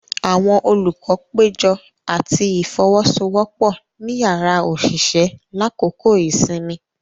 Awọn olukọ pejọ ati ifowosowopo ni yàrá oṣiṣẹ lakoko isinmi.